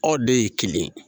Aw de ye kelen ye.